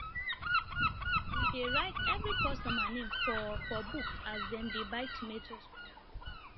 we dey write every customer name for for book as dem dey buy tomatoes from our farm